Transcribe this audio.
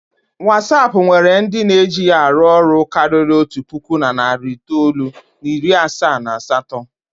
Watsap nwere ndị na-eji ya arụ ọrụ karịrị otu puku na narị itoolu na iri asaa na asatọ.